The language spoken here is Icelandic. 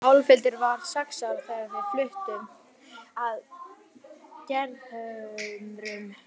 Álfhildur var sex ára þegar við fluttum að Gerðhömrum.